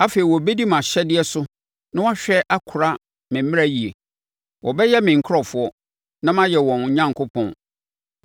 Afei wɔbɛdi mʼahyɛdeɛ so na wɔahwɛ akora me mmara yie. Wɔbɛyɛ me nkurɔfoɔ, na mayɛ wɔn Onyankopɔn.